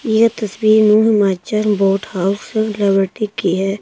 यह तस्वीर new Himachal boat house की है।